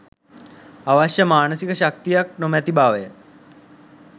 අවශ්‍ය මානසික ශක්තිය නොමැති බවය